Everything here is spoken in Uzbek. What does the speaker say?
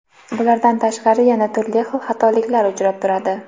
Bulardan tashqari yana turli xil xatoliklar uchrab turadi.